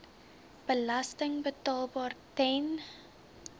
belasting betaalbaar ten